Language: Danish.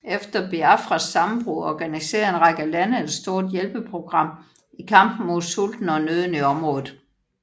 Efter Biafras sammenbrud organiserede en række lande ett stort hjælpeprogram i kampen mod sulten og nøden i området